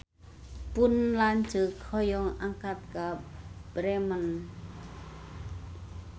Pun lanceuk hoyong angkat ka Bremen